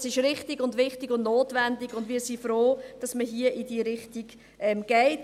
Das ist richtig und wichtig und notwendig, und wir sind froh, dass man hier in diese Richtung geht.